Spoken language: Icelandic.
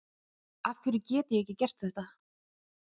afhverju get ég ekki gert þetta